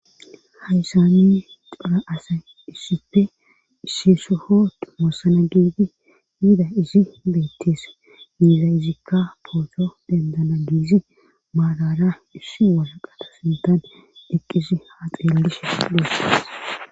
haysane xora asa issife ishshissohot moossana giiti yida isi beetteese giiza izikka pootho dendana giizi maalara issi wasaqata sindaade eqqisi haa xeellishe duesses